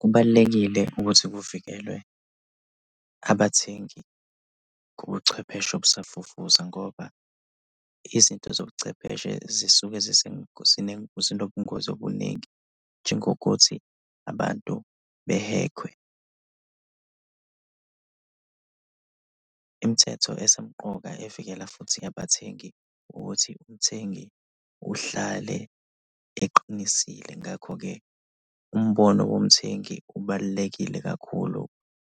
Kubalulekile ukuthi kuvikelwe abathengi kubuchwepheshe obusafufusa ngoba izinto zobuchwepheshe zisuke zinobungozi obuningi, njengokuthi abantu behekhwe. Imithetho esemqoka evikela futhi abathengi ukuthi umthengi uhlale eqinisile ngakho-ke umbono womthengi ubalulekile kakhulu